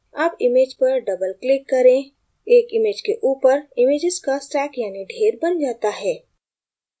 double image पर double click करें एक image के ऊपर images का stack यानि ढेर now जाता है